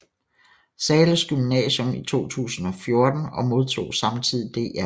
Zahles Gymnasium i 2014 og modtog samtidig Dr